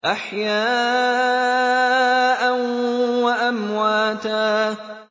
أَحْيَاءً وَأَمْوَاتًا